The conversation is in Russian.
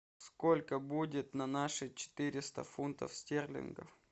сколько будет на наши четыреста фунтов стерлингов